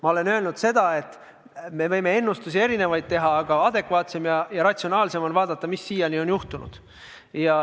Ma olen öelnud seda, et me võime teha erinevaid ennustusi, aga adekvaatsem ja ratsionaalsem on vaadata seda, mis siiani on juhtunud.